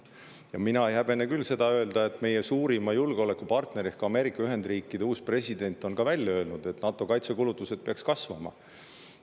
Ja mina ei häbene küll öelda, mida ka meie suurima julgeolekupartneri ehk Ameerika Ühendriikide uus president on välja öelnud: NATO kaitsekulutused peaks kasvama.